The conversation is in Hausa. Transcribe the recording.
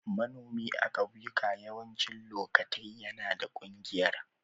Manomi a'kauyuka yawancin lokatai na da kungiyar.